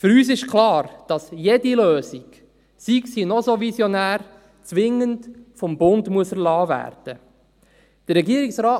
Für uns ist klar, dass jede Lösung, sei sie noch so visionär, zwingend durch den Bund erlassen werden muss.